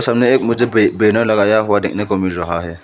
सामने एक मुझे बै बैनर लगाया हुआ देखने को मिल रहा है।